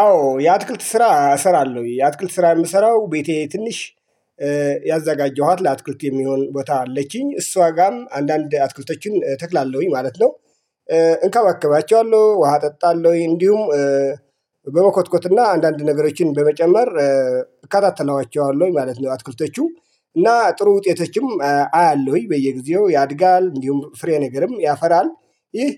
አዎ የአትክልት ስራ እሰራለሁ የአትክልት ስራ የምሰራው ቤቴ ትንሽ ያዘጋጀኋት ለአትኩልት የሚሆን ቦታ አለችኝ እሷ ጋርም አንዳንድ አትኩልቶችን ተክላለሁኝ ማለት ነው። እንከባከባቸዋለሁ ውሃ እጠጣለሁ እንዲሁም። በመኮትኮትና አንዳንድ ነገሮችን በመጨመር እከታተላቸዋለሁ ማለት ነው። አትኩልቶቹ እና ጥሩ ውጤቶችም አያለሁኝ በየጊዜው ያድጋል እንዲሁም ፍሬነገርም ያፈራል። ይህ